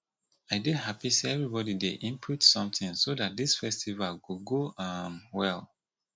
i dey happy say everybody dey input something so dat dis festival go go um well